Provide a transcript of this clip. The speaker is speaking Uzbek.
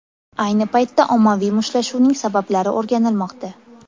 Ayni paytda ommaviy mushtlashuvning sabablari o‘rganilmoqda.